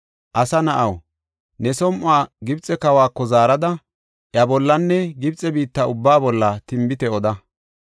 “Asa na7aw, ne som7uwa Gibxe kawako zaarada, iya bollanne Gibxe biitta ubbaa bolla tinbite oda.